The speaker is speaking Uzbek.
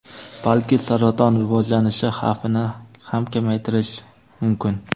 balki saraton rivojlanishi xavfini ham kamaytirishi mumkin.